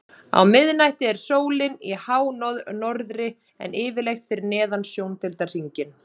Á miðnætti er sólin í hánorðri en yfirleitt fyrir neðan sjóndeildarhring.